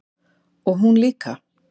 Og hún líka.